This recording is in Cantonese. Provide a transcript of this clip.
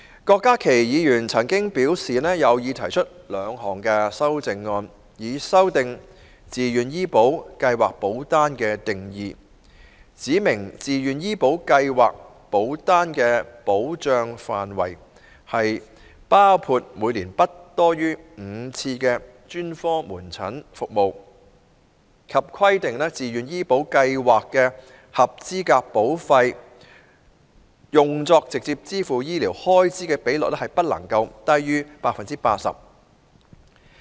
郭家麒議員曾表示，有意提出兩項修正案，以修訂"自願醫保計劃保單"的定義，指明自願醫保計劃保單的保障範圍，包括每年不多於5次專科門診服務，以及規定自願醫保計劃的合資格保費用作直接支付醫療開支的比率不低於 80%。